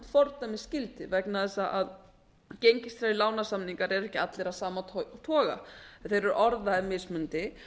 fordæmisgildi vegna þess að gengistryggðir lánasamningar eru ekki allir af sama toga þeir eru orðaðir mismunandi